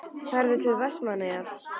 Ferðu til Vestmannaeyja?